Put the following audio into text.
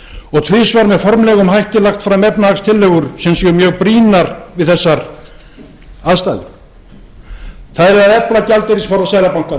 og tvisvar með formlegum hætti lagt fram efnahagstillögur sem séu mjög brýnar við þessar aðstæður það er að efla gjaldeyrisforða seðlabankans það var beðið